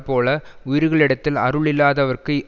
போல உயிர்களிடத்தில் அருள் இல்லாதவர்க்கு